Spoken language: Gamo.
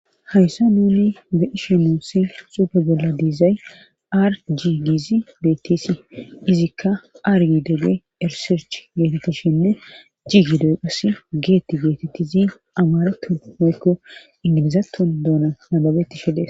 hayssa nuuni de ishe noossi xuufe bolla diizay ar jii giizi beettisi izikka aryidegge erisirch geetettishinne jigidoyqas geetti geetettizi amarattu moykko indimizaton doona nababeti fides